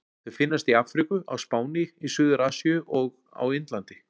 Þau finnast í Afríku, á Spáni, í Suður-Asíu og á Indlandi.